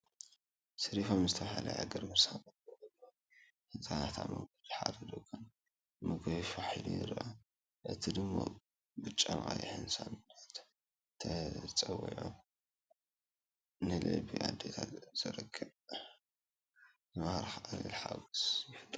“ሰሪፋም” ዝተባህለ ዕግርግር ሳንዱቕ መግቢ ህጻናት ኣብ መንገዲ ሓደ ድኳን ምግቢ ፋሕ ኢሉ ይርአ። እቲ ድሙቕ ብጫን ቀይሕን ሳጹናት ተጸዊዑ፡ ንልቢ ኣዴታት ዝማርኽ ቀሊል ሓጎስ ይፈጥር።